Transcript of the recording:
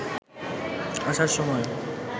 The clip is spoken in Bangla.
আসার সময়